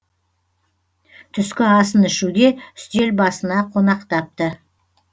түскі асын ішуге үстел басына қонақтапты